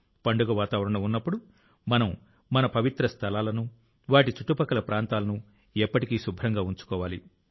పండుగ వాతావరణం ఉన్నప్పుడు మనం మన విశ్వాస స్థలాలను వాటి చుట్టుపక్కల ప్రాంతాలను ఎప్పటికీ శుభ్రంగా ఉంచుకోవాలి